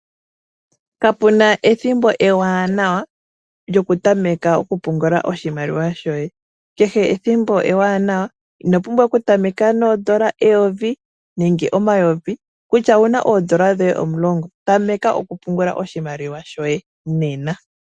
Kape na ethimbo eewanawa lyokutameka okupungula oshimaliwa shoye. Kehe ethimbo ewanawa. Ino pumbwa okutameka neyovi nenge omayovi kutya owu na oodolla dhoye omulongo tameka okupungula oshimaliwa shoye nena.